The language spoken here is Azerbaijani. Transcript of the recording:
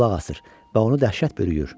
Qulaq asır və onu dəhşət bürüyür.